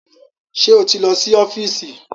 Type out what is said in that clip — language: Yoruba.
Ṣé o ti lọ sí ọ́fíìsì?